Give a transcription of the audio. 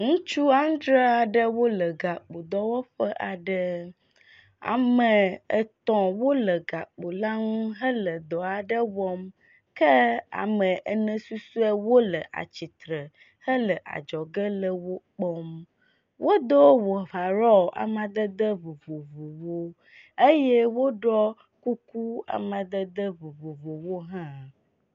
Ŋutsu adre aɖewo le gakpo dɔwɔƒe aɖe, ame etɔ̃ wole gakpo la ŋu hele dɔ aɖe wɔm ke ame ene susuewo le atsitre hele adzɔge le wokpɔm. Wodo overall amadede vovovowo eye wpoɖɔ kuku amadede vovovowo hã.